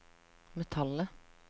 metallet